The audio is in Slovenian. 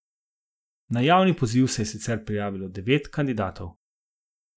Na javni poziv se je sicer prijavilo devet kandidatov.